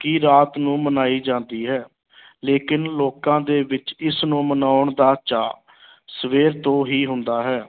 ਕਿ ਰਾਤ ਨੂੰ ਮਨਾਈ ਜਾਂਦੀ ਹੈ ਲੇਕਿਨ ਲੋਕਾਂ ਦੇ ਵਿੱਚ ਇਸ ਨੂੰ ਮਨਾਉਣ ਦਾ ਚਾਅ ਸਵੇਰ ਤੋਂ ਹੀ ਹੁੰਦਾ ਹੈ।